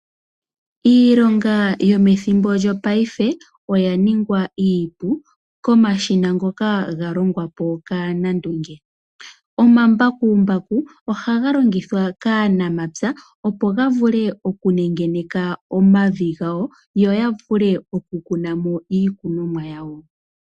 Iilonga yo methimbo lyo paife oya ningwa iipu komashina ngoka ga longwa kaanandunge. Ngaashi omambakumbaku ohaga longithwa kaanamapya opo ya vule oku nengeneka omavi ga wo yo yavule okukunamo ikunomwa yawo.